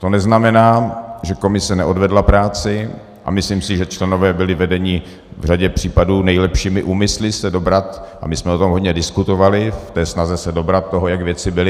To neznamená, že komise neodvedla práci, a myslím si, že členové byli vedeni v řadě případů nejlepšími úmysly se dobrat - a my jsme o tom hodně diskutovali - v té snaze se dobrat toho, jak věci byly.